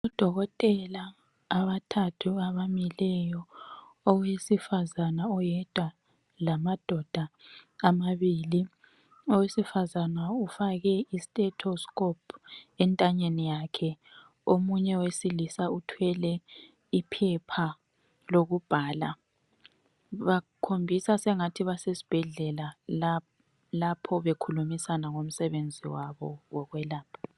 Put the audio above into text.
Odokotela abathathu abamileyo, owesifazana oyedwa lamadoda amabili , owesifazana ufake istethescope entanyeni yakhe, omunye owesilisa uthwele iphepha lokubhala ,bakhombisa sengathi basesibhedlela lapho bakhulumisana ngomsebenzi wabo wokwelapha